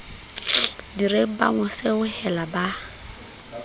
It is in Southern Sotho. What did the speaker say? direng ba mo seohela ba